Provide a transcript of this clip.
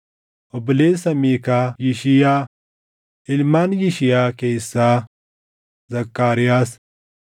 Obboleessa Miikaa: Yishiyaa; Ilmaan Yishiyaa keessaa: Zakkaariyaas.